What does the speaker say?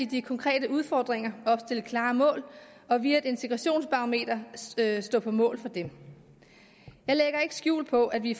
de konkrete udfordringer og opstille klare mål og via et integrationsbarometer stå på mål for dem jeg lægger ikke skjul på at vi